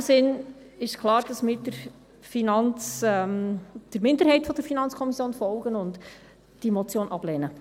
In diesem Sinn ist klar, dass wir der Minderheit der FiKo folgen und diese Motion ablehnen.